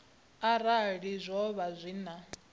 uri zwo vha zwi na